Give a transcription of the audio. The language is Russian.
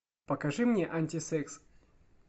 покажи мне антисекс